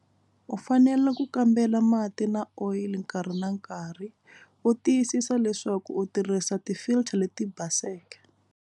U fanele ku kambela mati na oyili nkarhi na nkarhi u tiyisisa leswaku u tirhisa ti filter leti baseke.